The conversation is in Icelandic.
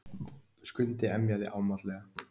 Skundi emjaði ámátlega.